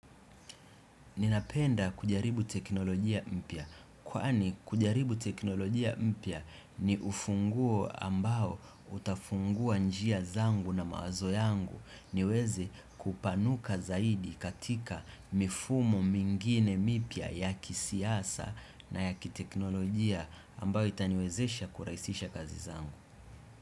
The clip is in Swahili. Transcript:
Ninapenda kujaribu teknolojia mpya, kwaani kujaribu teknolojia mpya ni ufunguo ambao utafungua njia zangu na mawazo yangu niweze kupanuka zaidi katika mifumo mingine mipya yaki siasa na yaki teknolojia ambao itaniwezesha kuraisisha kazi zangu.